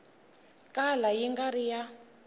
kala yi nga ri ya